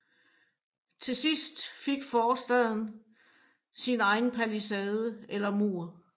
Til sidst fik forstaden sin egen palisade eller mur